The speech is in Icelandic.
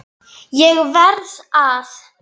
ÉG VERÐ AÐ